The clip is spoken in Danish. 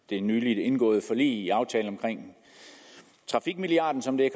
det nyligt indgåede forlig aftalen om trafikmilliarden som det